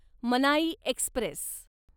मनाई एक्स्प्रेस